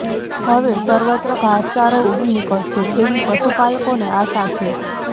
હવે સર્વત્ર ઘાસચારો ઊગી નીકળશે એવી પશુપાલકોને આશા છે